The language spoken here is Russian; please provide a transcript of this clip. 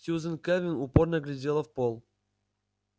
сьюзен кэлвин упорно глядела в пол